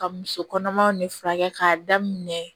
Ka muso kɔnɔmaw ni furakɛ k'a daminɛ